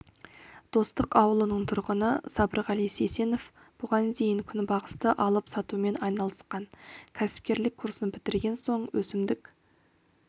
достық ауылының тұрғыны сабырғали сейсенов бұған дейін күнбағысты алып сатумен айналысқан кәсіпкерлік курсын бітірген соң өсімдік